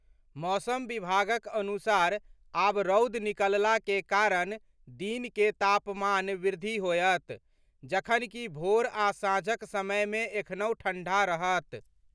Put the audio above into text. मौसम विभागक अनुसार आब रौद निकलला के कारण दिन के तापमान वृद्धि होयत, जखन कि भोर आ सांझक समय मे एखनहुं ठंढ़ा रहत।